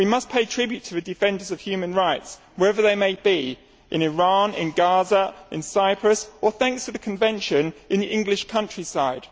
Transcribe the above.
We must pay tribute to the defenders of human rights wherever they may be, in Iran, in Gaza, in Cyprus or, thanks to the convention, in the English countryside.